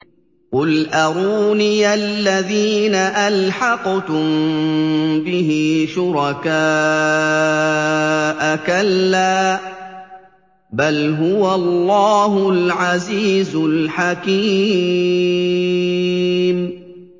قُلْ أَرُونِيَ الَّذِينَ أَلْحَقْتُم بِهِ شُرَكَاءَ ۖ كَلَّا ۚ بَلْ هُوَ اللَّهُ الْعَزِيزُ الْحَكِيمُ